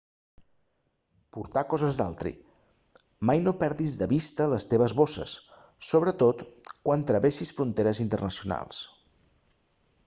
portar coses d'altri mai no perdis de vista les teves bosses sobretot quan travessis fronteres internacionals